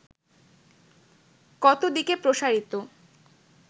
কত দিকে প্রসারিত